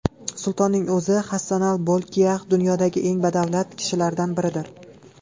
Sultonning o‘zi Hassanal Bolkiax dunyodagi eng badavlat kishilardan biridir.